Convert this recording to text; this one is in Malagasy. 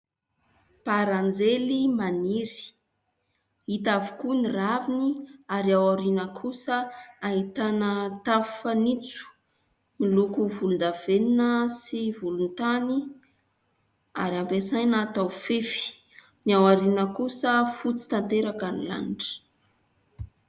Baranjely maniry, hita avokoa ny raviny ary aoriana kosa ahitana tafo fanitso, miloko volondavenona sy volontany ary ampiasaina atao fefy. Ny aoriana kosa fotsy tanteraka ny lanitra.